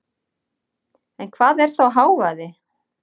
En hvað er þá hávaði?